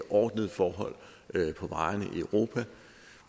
ordnede forhold på vejene i europa